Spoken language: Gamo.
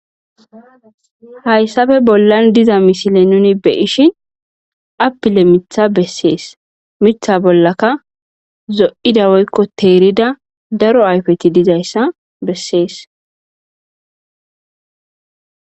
hayssappe bollan diza misile nuni be ishi appile mitha bessees mitha bollaka zo7ida woykko teerida daro ayfeti dizayssa bessees